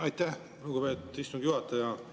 Aitäh, lugupeetud istungi juhataja!